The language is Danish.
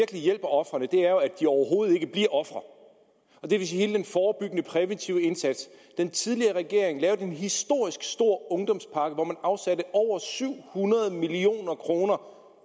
hjælper ofrene er at de overhovedet ikke bliver ofre det vil sige hele den forebyggende præventive indsats den tidligere regering lavede en historisk stor ungdomspakke hvor man afsatte over syv hundrede million kroner